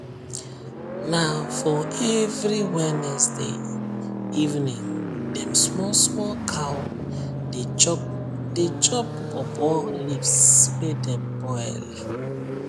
na for every wednesday evening dem small small cow dey chop dey chop pawpaw leaves wey dem boil